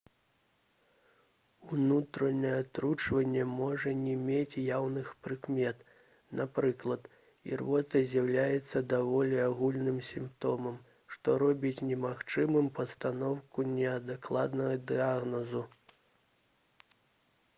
унутранае атручванне можа не мець яўных прыкмет напрыклад ірвота з'яўляецца даволі агульным сімптомам што робіць немагчымым пастаноўку неадкладнага дыягназу